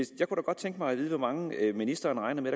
da godt tænke mig at vide hvor mange ministeren regner med